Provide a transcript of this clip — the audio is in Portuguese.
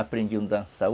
Aprendiam a dançar.